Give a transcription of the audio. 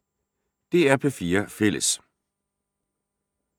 DR P4 Fælles